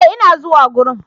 E! ina zuwa gurin.